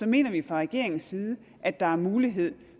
mener vi fra regeringens side at der er mulighed